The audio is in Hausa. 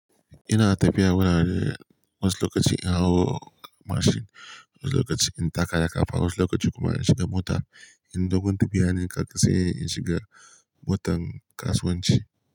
Ina tafiya wurare wasu lokaci in hau mashin, wani lokaci in taka da ƙafa, wani lokaci kuma in shiga mota. In dogon tafiya ne kafa sai in shiga motan kasuwanci.